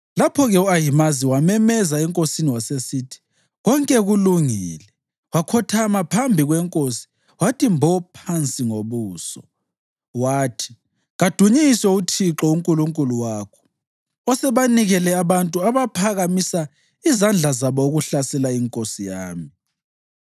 Lapho-ke u-Ahimazi wamemeza enkosini wasesithi, “Konke kulungile.” Wakhothama phambi kwenkosi wathi mbo phansi ngobuso, wathi, “Kadunyiswe uThixo uNkulunkulu wakho. Usebanikele abantu abaphakamisa izandla zabo ukuhlasela inkosi yami.”